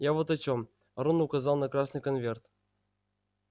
я вот о чем рон указал на красный конверт